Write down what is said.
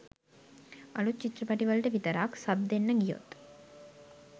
අලුත් චිත්‍රපටිවලට විතරක් සබ් දෙන්න ගියොත්